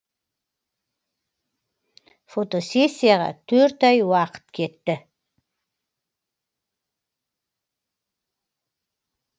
фотосессияға төрт ай уақыт кетті